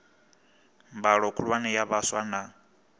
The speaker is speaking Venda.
mbalo khulwane ya vhaswa na